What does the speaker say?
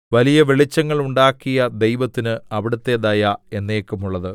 വലിയ വെളിച്ചങ്ങൾ ഉണ്ടാക്കിയ ദൈവത്തിന് അവിടുത്തെ ദയ എന്നേക്കുമുള്ളത്